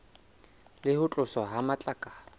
le ho tloswa ha matlakala